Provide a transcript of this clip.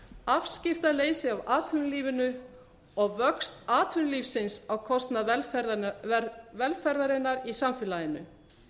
afskiptaleysi af atvinnulífinu og vöxt atvinnulífsins á kostnað velferðarinnar í samfélaginu